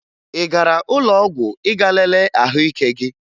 Ị gara ụlọọgwụ ịga lelee ahụike gị?